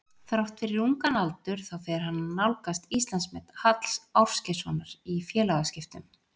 Þrátt fyrir ungan aldur þá fer hann að nálgast Íslandsmet Halls Ásgeirssonar í félagaskiptum.